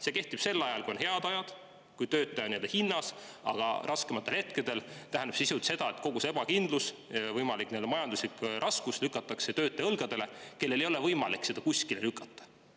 See kehtib siis, kui on head ajad, kui töötaja on hinnas, aga raskematel hetkedel tähendab see sisuliselt seda, et kogu see ebakindlus, võimalik majanduslik raskus pannakse töötaja õlgadele, aga temal ei ole võimalik seda kuskile edasi lükata.